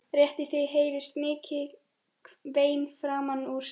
Rétt í því heyrast mikil vein framan úr stofu.